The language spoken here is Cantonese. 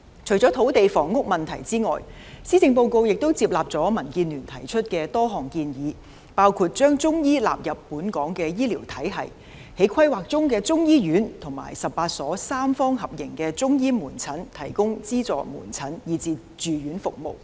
除了土地房屋問題之外，施政報告亦接納了民建聯提出的多項建議，包括將中醫納入本港醫療體系、在規劃中的中醫院及18所三方合營的中醫門診提供資助門診和住院服務。